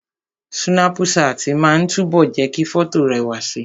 Súnápù ṣáàtì máa ń túbọ̀ jẹ́ kí fọ́tò rẹwà si